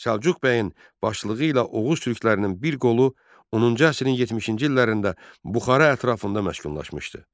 Səlcuq bəyin başçılığı ilə Oğuz türklərinin bir qolu 10-cu əsrin 60-cı illərində Buxara ətrafında məşkunlaşmışdı.